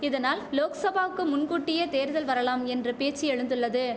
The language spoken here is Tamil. இதனால் லோக்சபாவுக்கு முன்கூட்டியே தேர்தல் வரலாம் என்ற பேச்சு எழுந்துள்ளது